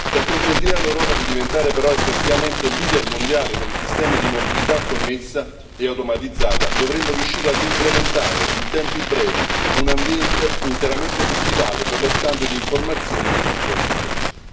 Per consentire all'Europa di diventare però effettivamente leader mondiale per i sistemi di mobilità connessa e automatizzata, dovremmo riuscire ad implementare in tempi brevi un ambiente interamente digitale per lo scambio di informazioni nel trasporto merci.